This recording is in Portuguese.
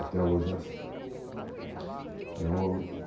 Até hoje é assim. Uhum.